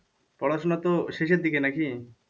পড়াশোনা তো শেষের দিকে নাকি?